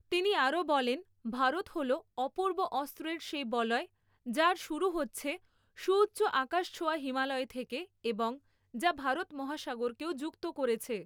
তিনি আরও বলেন, ভারত হল অপূর্ব অস্ত্রের সেই বলয় যার শুরু হচ্ছে সুউচ্চ আকাশছোঁয়া হিমালয় থেকে এবং যা ভারত মহাসাগরকেও যুক্ত করেছে।